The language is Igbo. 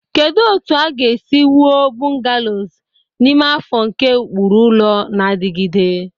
Kedu otu a ga-esi wuo bungalows n'ime afọ nke ụkpụrụ ụlọ na-adigide?